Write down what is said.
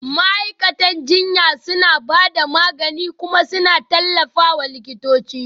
Ma'aikatan jinya suna ba da magani kuma suna tallafawa likitoci